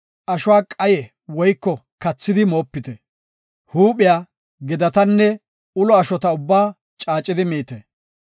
Ashuwa qaye woyko kathidi moopite. Huuphiya, gedatanne ulo ashota ubbaa caacidi miite.